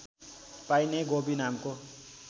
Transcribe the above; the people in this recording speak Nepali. पाइने गोबी नामको